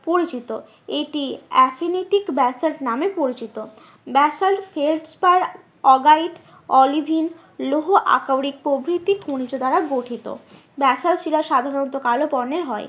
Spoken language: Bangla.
পরিচিত এটি ব্যাসল্ট নামে পরিচিত। ব্যাসল্ট অলিভিন লৌহ আকরিক প্রভৃতি খনিজ দ্বারা গঠিত। ব্যাসল্ট শিলা সাধারণত কালো বর্ণের হয়।